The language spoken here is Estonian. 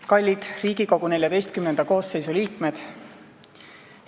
Kallid Riigikogu XIV koosseisu liikmed!